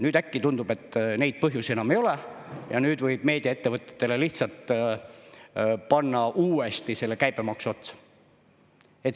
Nüüd äkki tundub, et neid põhjusi enam ei ole ja nüüd võib meediaettevõtetele lihtsalt panna uuesti selle käibemaksu otsa.